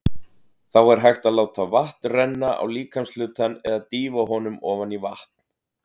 Þá er hægt að láta vatn renna á líkamshlutann eða dýfa honum ofan í vatn.